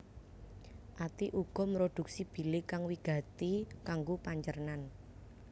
Ati uga mrodhuksi bile kang wigati kanggo pancernan